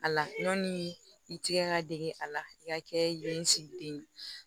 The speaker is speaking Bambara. A la ɲɔni i tigɛ ka dege a la i ka kɛ yen nsigi den ye